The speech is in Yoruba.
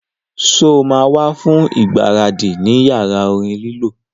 Sọ ma wá fún ìgbáradì ní yàrá orin lílọ